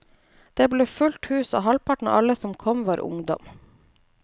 Det ble fullt hus, og halvparten av alle som kom, var ungdom.